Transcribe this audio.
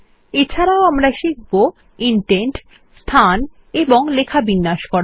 এছাড়াও আমরা শিখব ইনডেন্ট স্থান এবং লেখা বিন্যাস করা